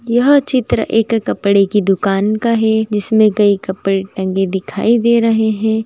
यह चित्र एक कपड़े की दूकान का है जिसमें कई कपड़े टंगे दिखाई दे रहे हैं ।